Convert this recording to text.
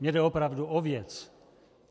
Mně jde opravdu o věc.